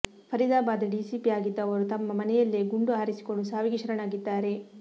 Faridabad DCP ಆಗಿದ್ದ ಅವರು ತಮ್ಮ ಮನೆಯಲ್ಲೇ ಗುಂಡು ಹಾರಿಸಿಕೊಂಡು ಸಾವಿಗೆ ಶರಣಾಗಿದ್ದಾರೆ